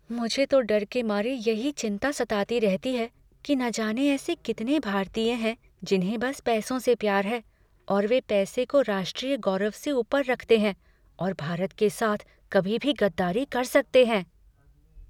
मुझे तो डर के मारे यही चिंता सताती रहती है कि ना जाने ऐसे कितने भारतीय हैं जिन्हें बस पैसों से प्यार है और वे पैसे को राष्ट्रीय गौरव से ऊपर रखते हैं और भारत के साथ कभी भी गद्दारी कर सकते हैं।